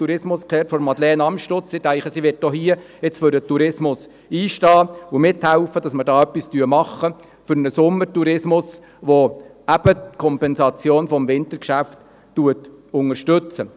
Ich denke, sie wird auch hier für den Tourismus einstehen und mithelfen, etwas für den Sommertourismus zu tun, welcher das Wintergeschäft ergänzt und Ausfälle kompensiert.